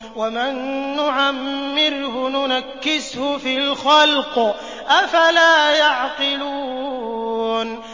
وَمَن نُّعَمِّرْهُ نُنَكِّسْهُ فِي الْخَلْقِ ۖ أَفَلَا يَعْقِلُونَ